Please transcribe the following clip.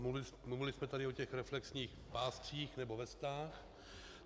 Mluvili jsme tady o těch reflexních páscích nebo vestách.